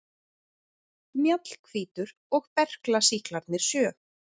Mjallhvítur og berklasýklarnir sjö.